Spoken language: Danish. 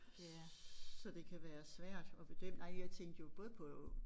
Så det kan være svært at bedømme nej jeg tænkte jo både på